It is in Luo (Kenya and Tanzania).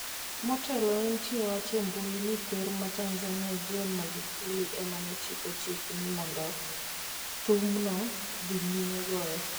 Motelo ne nitie wach e mbui ni ker ma Tanzania John Magufuli emane chiko chik ni mondo thumno dhi nyime goyo.